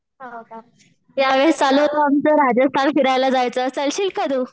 हो का? यावेळेस चालू होतं आमचं राजस्थान फिरायला जायचं चालशील का तू?